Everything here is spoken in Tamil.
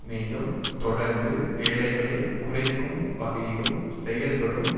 மேலும் தொடர்ந்து வேலைகளை குறைக்கும் வகையிலும் செயல்படும்